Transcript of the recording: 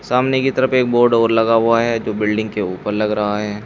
सामने के तरफ एक बोर्ड और लगा हुआ है जो बिल्डिंग के उपर लग रहा है।